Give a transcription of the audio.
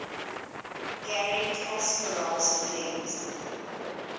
garry kasparov's winning